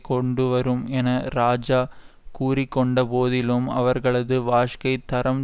கொண்டுவரும் என இராஜா கூறி கொண்ட போதிலும் அவர்களது வாஜ்க்கைத் தரம்